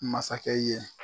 Masakɛ ye